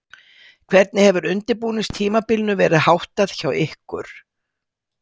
Hvernig hefur undirbúningstímabilinu verð háttað hjá ykkur?